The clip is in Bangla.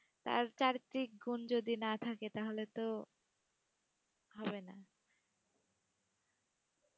তার চারিত্রিক গুণ যদি না থাকে তাহলে তো, হবে না।